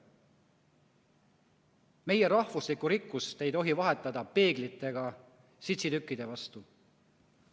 Meie rahvuslikku rikkust ei tohi vahetada peeglite ja sitsitükkide vastu.